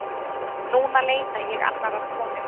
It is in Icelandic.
Núna leita ég annarrar konu.